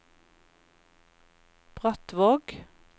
Brattvåg